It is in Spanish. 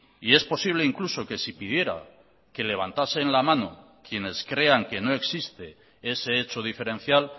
y es posible incluso que si pidiera que levantasen la mano quienes crean que no existe ese hecho diferencial